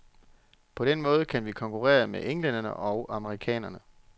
På den måde kan vi konkurrere med englænderne og amerikanerne.